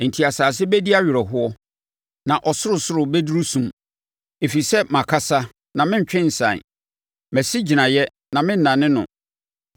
Enti asase bɛdi awerɛhoɔ na ɔsorosoro bɛduru sum, ɛfiri sɛ makasa na merentwe nsan. Masi gyinaeɛ na mennane no.”